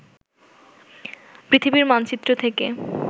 পৃথিবীর মানচিত্র থেকে